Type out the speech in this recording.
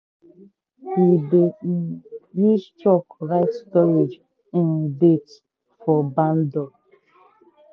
we dey um use chalk write storage um date for barn door.